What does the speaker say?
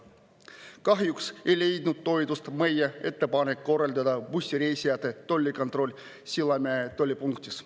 Kahjuks ei leidnud toetust meie ettepanek korraldada bussireisijate tollikontroll Sillamäe tollipunktis.